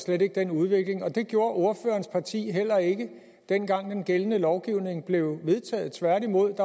slet ikke den udvikling og det gjorde ordførerens parti heller ikke dengang den gældende lovgivning blev vedtaget tværtimod